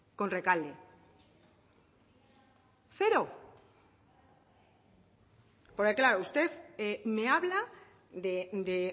con rekalde cero porque claro usted me habla de